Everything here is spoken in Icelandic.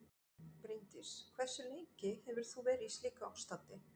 Bryndís: Hversu lengi hefur þú verið í slíku ástandi?